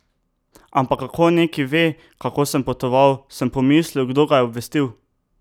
Ampak kako neki ve, kako sem potoval, sem pomislil, kdo ga je obvestil?